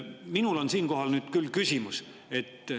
Minul on siinkohal küll küsimus.